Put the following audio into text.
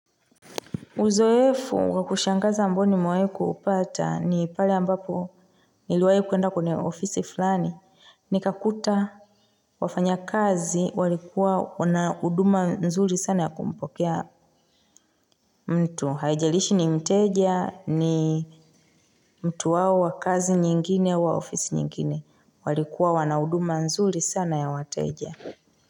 Uzoefu wa kushangaza ambayo nimewai kuupata ni pale ambapo niliwai kuenda kwenye ofisi fulani. Nikakuta wafanyakazi walikuwa wana huduma nzuri sana ya kumpokea mtu. Haijalishi ni mteja ni mtu wao wa kazi nyingine wa ofisi nyingine. Walikuwa wana huduma nzuri sana ya wateja.